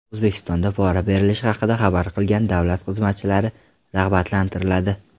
O‘zbekistonda pora berilishi haqida xabar qilgan davlat xizmatchilari rag‘batlantiriladi.